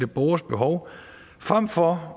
borgers behov frem for